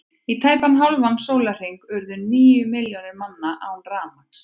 Í tæpan hálfan sólarhring urðu níu milljónir manna án rafmagns.